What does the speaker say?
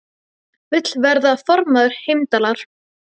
Vill verða formaður Heimdallar